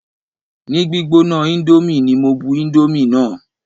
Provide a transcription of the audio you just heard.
Ni gbígbóná índómì ní mo bu indomie náà.